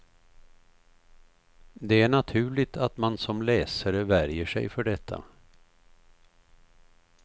Det är naturligt att man som läsare värjer sig för detta.